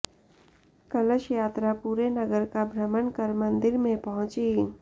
कलश यात्रा पूरे नगर का भ्रमण कर मन्दिर में पहुंची